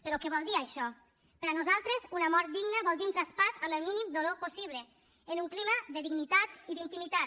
però què vol dir això per a nosaltres una mort digna vol dir un traspàs amb el mínim dolor possible en un clima de dignitat i d’intimitat